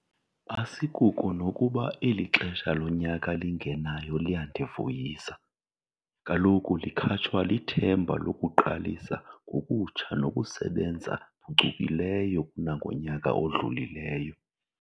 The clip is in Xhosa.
Asikuko nokuba eli xesha lonyaka lingenayo liyandivuyisa - kaloku likhatshwa lithemba lokuqalisa ngokutsha nokusebenza phucukileyo kunangonyaka odlulileyo.